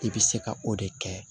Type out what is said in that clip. I bɛ se ka o de kɛ